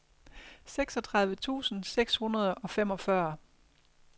seksogtredive tusind seks hundrede og femogfyrre